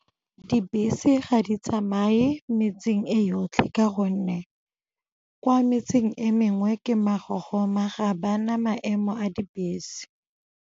Dibese ga di tsamaye metseng e yotlhe ka gonne kwa metseng e mengwe ke magogoma, ga ba na maemo a dibese.